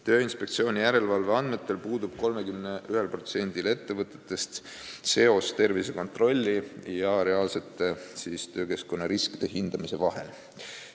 Tööinspektsiooni järelevalve andmetel puudub 31%-s ettevõtetest seos tervisekontrolli ja reaalsete töökeskkonna riskide hindamise vahel.